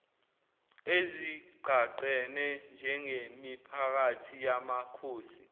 ezigqagqene njengemiphakathi yamakhosi